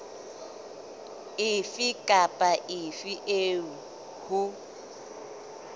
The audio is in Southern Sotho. efe kapa efe eo ho